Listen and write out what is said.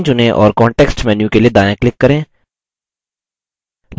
line चुनें और context menu के लिए दायाँclick करें